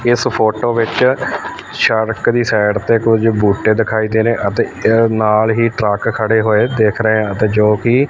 ਇਸ ਫ਼ੋਟੋ ਵਿੱਚ ਸ਼ੜਕ ਦੀ ਸਾਈਡ ਤੇ ਕੁਝ ਬੂਟੇ ਦਿਖਾਈ ਦੇ ਰਹੇ ਅਤੇ ਏਹਦੇ ਨਾਲ ਹੀ ਟਰੱਕ ਖੜੇ ਹੋਏ ਦਿੱਖ ਰਹੇ ਅਤੇ ਜੋਕਿ--